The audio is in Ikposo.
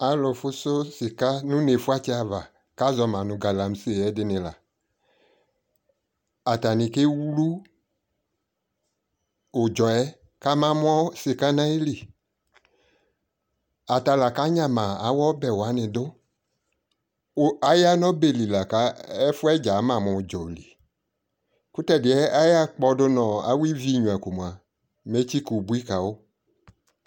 alʋ fʋsʋ sika nʋ ʋnɛ fʋatsɛ aɣa kʋ azɔma galamseɛ ɛdi la, atani kɛ wlʋ ʋdzɔɛ kama mʋ shika nʋ ayili, ata la kanyama awʋ ɔbɛ wani dʋ, ku aya nʋ ɔbɛ li la kʋ ɛfuɛdza ama mʋ ʋdzɔ li, kʋtɛdiɛ akpɔdʋ nʋ awʋ ivi ɛnyʋa kʋ mʋa mɛ ɛtkyika ʋbʋi kawʋ